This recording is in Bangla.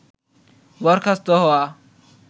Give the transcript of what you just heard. বরখাস্ত হওয়া